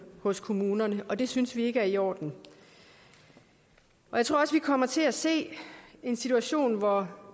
hos kommunerne og det synes vi ikke er i orden jeg tror også vi kommer til at se en situation hvor